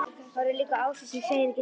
Horfir líka á Ásu sem segir ekki neitt.